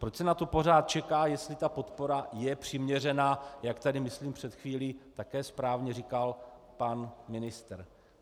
Proč se na to pořád čeká, jestli ta podpora je přiměřená, jak tady myslím před chvílí také správně říkal pan ministr?